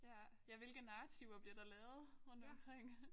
Ja ja hvilke narrativer bliver der lavet rundt omkring